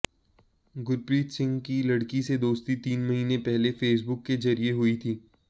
गुरप्रीत सिंह की लड़की से दोस्ती तीन महीने पहले फेसबुक के जरिये हुई थी